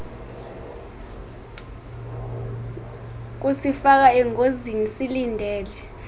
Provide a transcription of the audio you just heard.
kusifaka engozini silindele